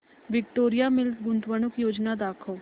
Victoria mills गुंतवणूक योजना दाखव